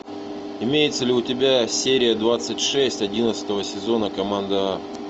имеется ли у тебя серия двадцать шесть одиннадцатого сезона команда а